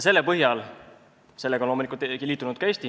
Sellega on loomulikult liitunud ka Eesti.